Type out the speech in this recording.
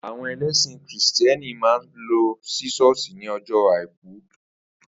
Àwo̩n e̩lé̩sìn krìstìé̩nì máa ń lo̩ sí s̩ó̩ò̩s̩ì ní o̩jó̩ Àìkú